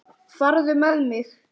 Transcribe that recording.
Farðu með mig.